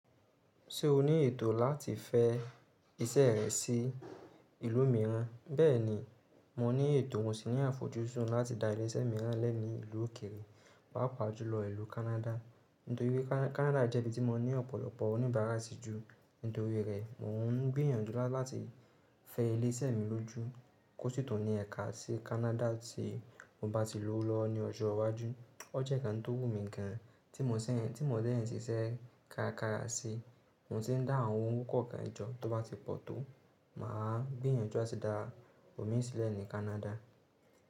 Ṣé o ní ètò láti fẹ́ iṣẹ́ rẹ sí ìlú mìíràn? Bẹ́ẹ̀ni, mo ní ètò mo si ni àfojúsùn láti da ilé-iṣẹ́ mìíran lẹ̀ ní ìlú òkèrè, pàápàá jùlọ ìlú Canada. Nítorí pé Canada jẹ́ ibi tí mo ní ọ̀pọ̀lọpọ̀ oníbárà sì jú. Nítorí rẹ̀, mò ń gbìyànjú láti fẹ ilé-iṣẹ́ mi lójú kó sì tò ní ẹ̀ka sí Canada tí mo bá ti lòwo lọwo ní ọjọ́ iwájú. O jẹ́ ǹkan tó wù mí gan, tí mo si n tí mo dẹ́ ṣiṣẹ́ kárakára sí, mo sì ń dá àwọn owo kókó kan jọ. Tó bá ti pọ̀ tó, màá gbìyànjú láti dá òmíì sílẹ̀ ní Canada.